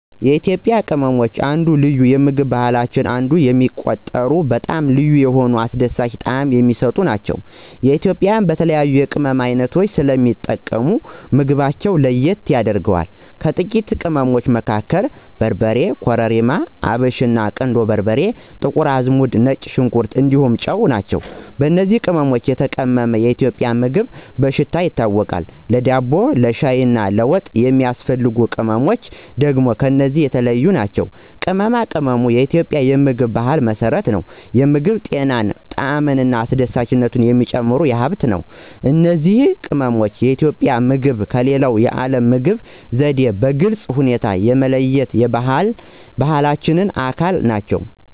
የኢትዮጵያ ቅመም አንደ ልዩ የምግብ ባህላችን አንዱ የሚቆጠረው በጣም ልዩ እና አስደሳች ጣዕም የሚሰጥ ነው። ኢትዮጵያውያን በተለያዩ የቅመም ዓይነቶች ስለሚጠቀሙ ምግባቸውን ለየት ያደርገዋል። ከታዋቂ ቅመሞቹ መካከል በርበሬ, ኮረሪማ፣ አብሽና, ቁንዶ በርበሬ፣ ጥቁር አዝሙድ፣ ነጭ ሽንኩር እንዲሁም ጨው ናቸው። በእነዚህ ቅመሞች የተቀመመ የኢትዮጵያ ምግብ በሽታ ያስታውቃል፣ ለዳቦ፣ ለሻይ እና ለወጥ የሚያስፈልጉ ቅመምች ደግም ከነዚህ የተለዮ ናቸው። ቅመማ ቅመም በኢትዮጵያ የምግብ ባህል መሰረት ነው፤ የምግብ ጤናን፣ ጣዕምን እና አስደሳችነቱን የሚጨምር ሃብት ነው። እነዚህ ቅመሞች የኢትዮጵያ ምግብን ከሌላ የዓለም ምግብ ዘዴ በግልጽ ሁኔታ የሚለዩት የባህላዊ ባህላችን አካል ናቸው።